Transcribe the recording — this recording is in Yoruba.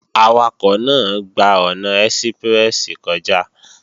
Awakọ̀ náà gba ọ̀nà ẹ́síprẹ́sì kọjá